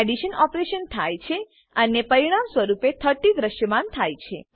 addition operation થાય છે અને પરિણામ સ્વરૂપે 30 દ્રશ્યમાન થાય છે